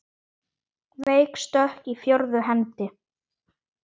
Veik stökk í fjórðu hendi!